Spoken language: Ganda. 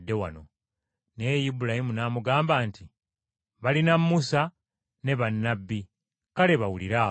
Naye Ibulayimu n’amugamba nti, ‘Balina Musa ne bannabbi, kale bawulire abo.’